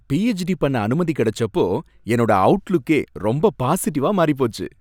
PhD பண்ண அனுமதி கடைச்சப்போ என்னோட அவுட்லுக்கே ரொம்ப பாசிட்டிவா மாறிப்போச்சு.